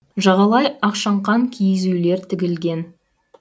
жағалай ақшаңқан киіз үйлер тігілген